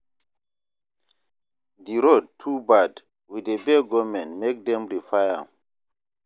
The road too bad, we dey beg government make dem repair am.